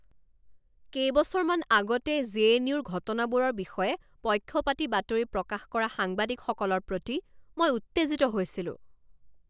কেইবছৰমান আগতে জেএনইউ ৰ ঘটনাবোৰৰ বিষয়ে পক্ষপাতী বাতৰি প্ৰকাশ কৰা সাংবাদিকসকলৰ প্ৰতি মই উত্তেজিত হৈছিলো।